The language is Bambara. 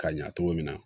Ka ɲa cogo min na